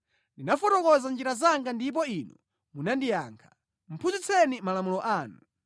Ndinafotokoza njira zanga ndipo Inu munandiyankha; phunzitseni malamulo anu.